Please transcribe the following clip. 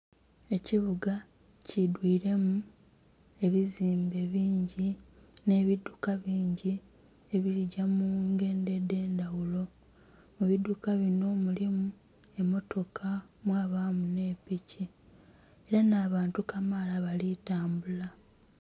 Ekibuga kidwiremu ebizimbe bingi nhe bidhuka bingi ebiligya mungendho edhendhaghulo eidhuka binho mulimu emotoka, mwabamu nhe piki era nha bantu kamala bali tambula.